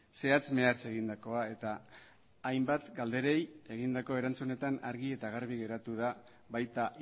zehatz mehatz egindakoa eta hainbat galderei egindako erantzunetan argi eta garbi geratu da baita